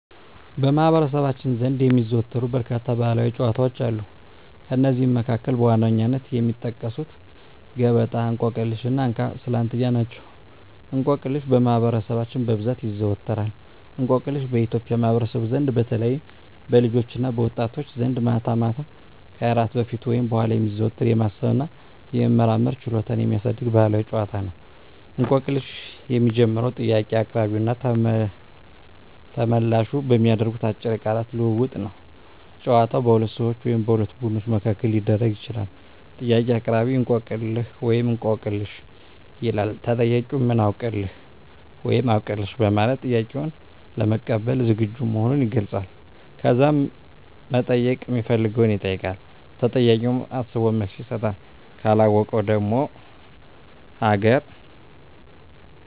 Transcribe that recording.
በማኅበረሰባችን ዘንድ የሚዘወተሩ በርካታ ባሕላዊ ጨዋታዎች አሉ። ከእነዚህም መካከል በዋነኝነት የሚጠቀሱት ገበጣ፣ እንቆቅልሽ እና እንካ ስላንትያ ናቸው። እንቆቅልሽ በማህበረሰባችን በብዛት ይዘዎተራል። እንቆቅልሽ በኢትዮጵያ ማኅበረሰብ ዘንድ በተለይም በልጆችና በወጣቶች ዘንድ ማታ ማታ ከእራት በፊት ወይም በኋላ የሚዘወተር፣ የማሰብ እና የመመራመር ችሎታን የሚያሳድግ ባሕላዊ ጨዋታ ነው። እንቆቅልሽ የሚጀምረው ጥያቄ አቅራቢውና ተመልላሹ በሚያደርጉት አጭር የቃላት ልውውጥ ነው። ጨዋታው በሁለት ሰዎች ወይም በሁለት ቡድኖች መካከል ሊደረግ ይችላል። ጥያቄ አቅራቢ፦ "እንቆቅልህ/ሽ?" ይላል። ተጠያቂው፦ "ምን አውቅልህ?" (ወይም "አውቅልሽ") በማለት ጥያቄውን ለመቀበል ዝግጁ መሆኑን ይገልጻል። ከዛም መጠየቅ ሚፈልገውን ይጠይቃል። ተጠያቂውም አስቦ መልስ ይሰጣል። ካለወቀው ደግሞ ሀገ